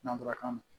Nanzarakan na